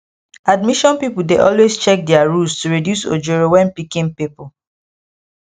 admission people dey always check their rules to reduce ojoro when picking people